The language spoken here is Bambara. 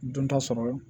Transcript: Dɔnta sɔrɔ